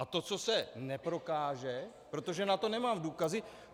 A to, co se neprokáže, protože na to nemám důkazy...